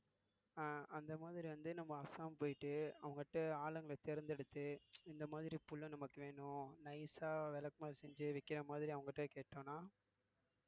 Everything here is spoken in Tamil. அஹ் அந்த மாதிரி வந்து நம்ம அஸ்ஸாம் போயிட்டு அவங்க கிட்ட ஆளுங்களை தேர்ந்தெடுத்து இந்த மாதிரி புல்லு நமக்கு வேணும் nice ஆ விளக்குமாறு செஞ்சு விக்கிற மாதிரி அவங்க கிட்ட கேட்டோம்னா